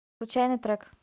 случайный трек